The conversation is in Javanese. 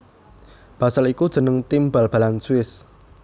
Basel iku jeneng tim bal balan Swiss